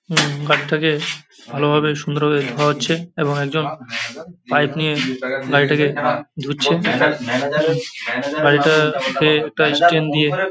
উম গাড়িটাকে ভালোভাবে সুন্দরভাবে ধোয়া হচ্ছে এবং একজন পাইপ নিয়ে গাড়িটাকে ধুচ্ছে। উম গাড়িটা কে একটা স্টেন দিয়ে--